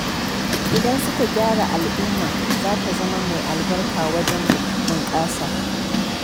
Idan suka gyaru al'umma za ta zama mai albarka wajen bunƙasa.